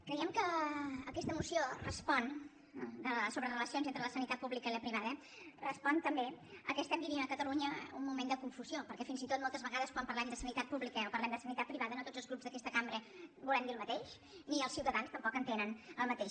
creiem que aquesta moció sobre relacions entre la sanitat pública i la privada respon també al fet que estem vivint a catalunya un moment de confusió perquè fins i tot moltes vegades quan parlem de sanitat pública o parlem de sanitat privada no tots els grups d’aquesta cambra volem dir el mateix ni els ciutadans tampoc hi entenen el mateix